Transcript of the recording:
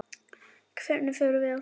Hvernig förum við að því?